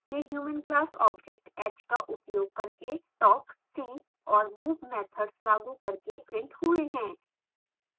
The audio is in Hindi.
ये human class object h का उपयोग करके talk see और move मैथड्स लागू करके printed हुए हैं